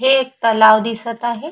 हे एक तलाव दिसत आहे.